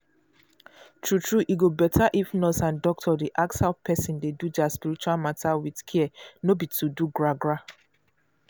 true true e go better if nurse and doctor dey ask how person dey do their spiritual matter with care no be to do gra-gra.